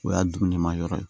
O y'a dumuni ma yɔrɔ ye